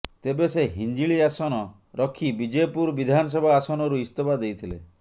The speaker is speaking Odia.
ତେବେ ସେ ହିଞ୍ଜିଳି ଆସନ ରଖି ବିଜେପୁର ବିଧାନସଭା ଆସନରୁ ଇସ୍ତଫା ଦେଇଥିଲେ